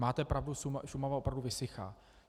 Máte pravdu, Šumava opravdu vysychá.